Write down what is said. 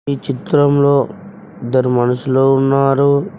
ఈ చిత్రంలో ఇద్దరు మనుషులు ఉన్నారు.